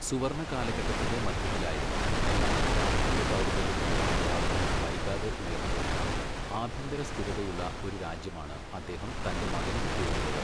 സുവർണ്ണ കാലഘട്ടത്തിന്റെ മധ്യത്തിലായിരുന്ന, എന്നാൽ രാഷ്ട്രീയ ദൗർബല്യത്തിന്റെ അടയാളങ്ങൾ വൈകാതെ ഉയർന്നുവരുന്ന, ആഭ്യന്തരസ്ഥിരതയുള്ള ഒരു രാജ്യമാണ് അദ്ദേഹം തന്റെ മകന് വിട്ടുകൊടുത്തത്.